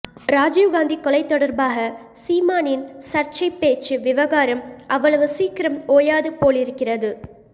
ராஜீவ் காந்தி கொலை தொடர்பாக சீமானின் சர்ச்சைப் பேச்சு விவகாரம் அவ்வளவு சீக்கிரம் ஓயாதுபோலிருக்கிறது